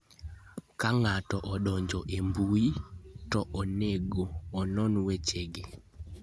Ka ng'ato odonjo e mbui, to onego onon wechegi: